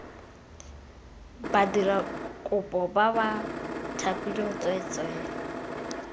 badirakopo ba ba thapilweng tsweetswee